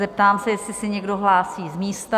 Zeptám se, jestli se někdo hlásí z místa?